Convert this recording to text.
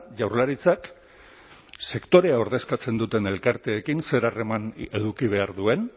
jaurlaritzak sektorea ordezkatzen duten elkarteekin zer harremana eduki behar duen